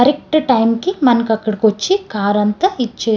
correct time కి మనకు అక్కడికి వచ్చి కార్ అంత ఇచ్చేసి --